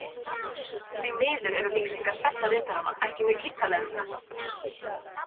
Því miður eru lýsingar sagnaritaranna ekki mjög ýtarlegar um þetta.